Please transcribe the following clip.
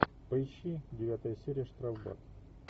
поищи девятая серия штрафбат